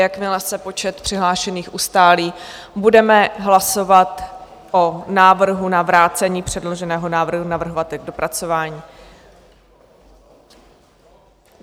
Jakmile se počet přihlášených ustálí, budeme hlasovat o návrhu na vrácení předloženého návrhu navrhovateli k dopracování.